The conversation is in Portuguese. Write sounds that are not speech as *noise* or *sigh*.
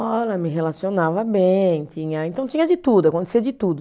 *unintelligible* Me relacionava bem tinha, então tinha de tudo, acontecia de tudo.